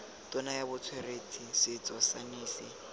tona ya botsweretshi setso saense